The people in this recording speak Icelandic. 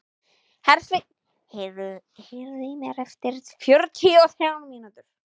Hersveinn, heyrðu í mér eftir fjörutíu og þrjár mínútur.